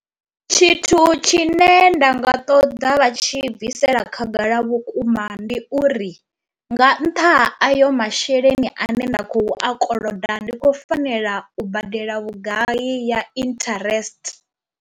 Tshithu tshine nda nga ṱoḓa vha tshi bvisela khagala vhukuma ndi uri nga ntha ha ayo masheleni ane nda khou i koloda ndi khou fanela u badela vhugai ya interest.